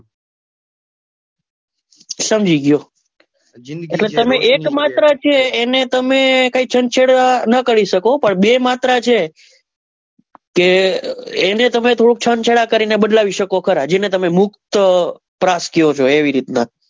સમજી ગયો એટલે તમે એક માત્ર છે એને તમે કઈ છંછેડા નાં કરી શકો પણ બે માત્ર છે કે એને તમે થોડુક છંછેડા કરી ને બદલાવી શકો ખરા જેને મુક્ત પ્રાસ કહો છો એવી રીત નાં,